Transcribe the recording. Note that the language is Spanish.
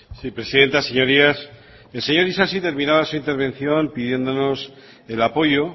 sí presidenta señorías el señor isasi terminaba su intervención pidiéndonos el apoyo